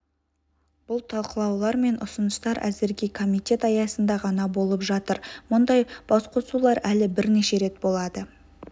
бұл талқылаулар мен ұсыныстар әзірге комитет аясында ғана болып жатыр мұндай басқосулар әлі бірнеше рет болады